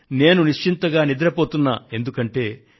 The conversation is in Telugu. నేను ప్రశాంతంగా నిద్రపోతున్నా కారణం